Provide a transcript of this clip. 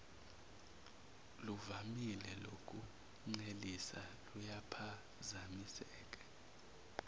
luvamile lokuncelisa luyaphazamiseka